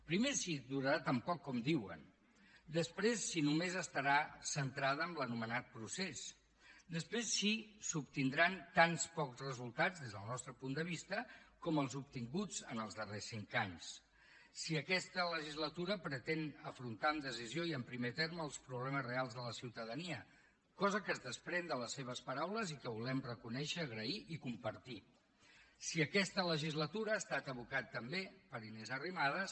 primer si durarà tan poc com diuen després si només estarà centrada en l’anomenat procés després si s’obtindran tan pocs resultats des del nostre punt de vista com els obtinguts en els darrers cinc anys si aquesta legislatura pretén afrontar amb decisió i en primer terme els problemes reals de la ciutadania cosa que es desprèn de les seves paraules i que volem reconèixer agrair i compartir si aquesta legislatura ha estat abocat també per inés arrimadas